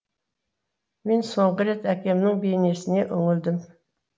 мен соңғы рет әкемнің бейнесіне үңілдім